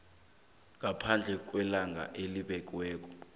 ngaphambi kwelanga elibekiweko